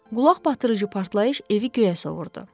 Qulaq batdırıcı partlayış evi göyə sovurdu.